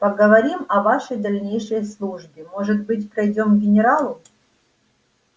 поговорим о вашей дальнейшей службе может быть пройдём к генералу